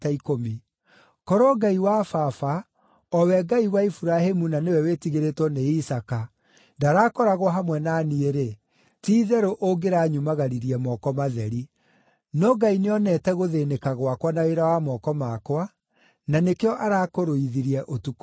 Korwo Ngai wa baba, o we Ngai wa Iburahĩmu na nĩwe wĩtigĩrĩtwo nĩ Isaaka, ndaraakoragwo hamwe na niĩ-rĩ, ti-itherũ ũngĩranyumagaririe moko matheri. No Ngai nĩonete gũthĩĩnĩka gwakwa na wĩra wa moko makwa, na nĩkĩo arakũrũithirie ũtukũ wa ira.”